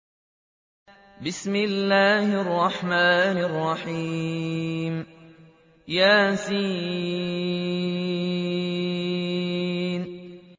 يس